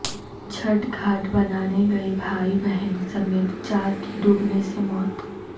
چھٹھ گھاٹ بنانے گئے بھائی بہن سمیت چار کی ڈوبنے سے موت